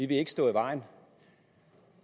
vil ikke stå i vejen